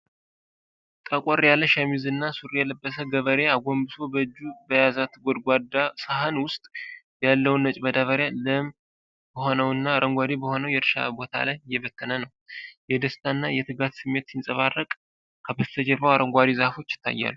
ጠቆር ያለ ሸሚዝ እና ሱሪ የለበሰ ገበሬ፣ አጎንብሶ በእጁ በያዛት ጎድጓዳ ሳህን ውስጥ ያለውን ነጭ ማዳበሪያ፣ ለም በሆነው እና አረንጓዴ በሆነው የእርሻ ቦታ ላይ እየበተነ ነው። የደስታና የትጋት ስሜት ሲንጸባረቅ፣ ከበስተጀርባ አረንጓዴ ዛፎች ይታያሉ።